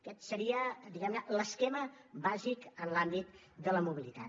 aquest seria diguem ne l’esquema bàsic en l’àmbit de la mobilitat